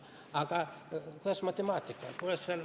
Aga kuidas matemaatikaga on?